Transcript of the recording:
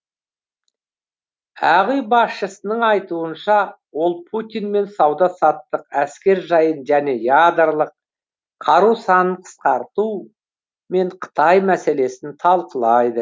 ақ үй басшысының айтуынша ол путинмен сауда саттық әскер жайын және ядрлық қару санын қысқарту мен қытай мәселесін талқылайды